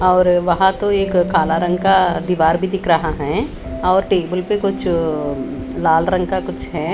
और वहा तो एक काला रंग का दीवार भी दिख रहा है और टेबल पर कुछ लाल रंग का कुछ है।